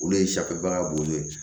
Olu ye safinɛbaga bonyɔ ye